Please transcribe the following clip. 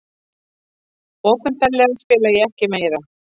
Opinberlega spila ég ekki meira.